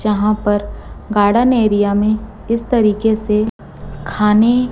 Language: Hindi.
यहां पर गार्डन एरिया में इस तरीके से खाने--